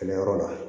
Kɛlɛ yɔrɔ la